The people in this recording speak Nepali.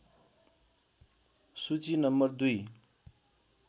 सूची नं २